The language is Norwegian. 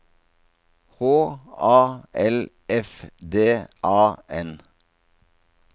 H A L F D A N